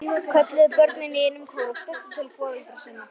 kölluðu börnin í einum kór og þustu til foreldra sinna.